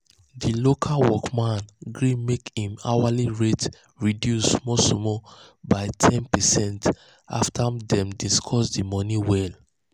the local work man um gree make him hourly rate reduce small small by ten percent after dem discuss the money well.